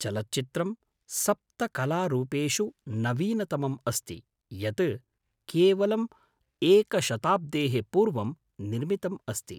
चलच्चित्रं सप्तकलारूपेषु नवीनतमम् अस्ति, यत् केवलम् एकशताब्देः पूर्वं निर्मितम् अस्ति।